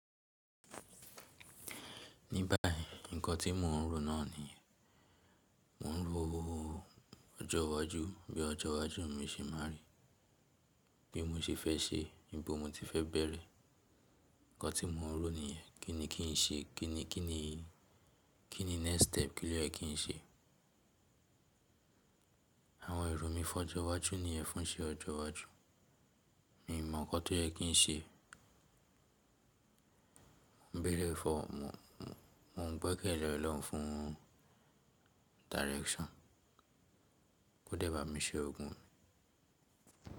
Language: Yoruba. Ní báyìí nǹkan tí mò ń rò náà ni yen, mò ń ro ọjọ́ iwájú bí ọjọ́ iwájú mi ṣe máa rí, bí mo ṣe fẹ́ ṣe, níbo mo ti fẹ́ bẹ̀rẹ̀. Ǹkan tí mò ń rò ni yẹ́n, kíni kín ṣe, kíni, kíni, kíni next step kí ló yẹ kí n ṣe. Àwọn èrò mi fọ́jọ́ iwájú ní yẹ́n fún iṣe ọjọ́ iwájú. Mi i mọ̀ ǹkan tó yẹ kí n ṣe. Bí lè fọ̀, mò ń gbẹ́kẹ̀lẹ́ Ọlọ́run fún direction. Kó dẹ̀ bá mi ṣe ogun.